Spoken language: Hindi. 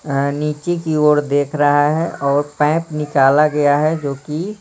ए नीचे की ओर देख रहा है और पैप निकाला गया है जो कि--